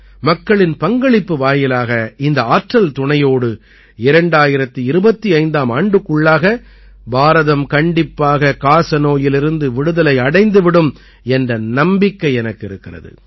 மக்களின் பங்களிப்பு வாயிலாக இந்த ஆற்றல் துணையோடு 2025ஆம் ஆண்டுக்குள்ளாக பாரதம் கண்டிப்பாக காசநோயிலிருந்து விடுதலை அடைந்து விடும் என்ற நம்பிக்கை எனக்கு இருக்கிறது